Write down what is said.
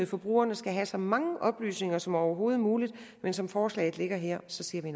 forbrugerne skal have så mange oplysninger som overhovedet muligt men som forslaget ligger her siger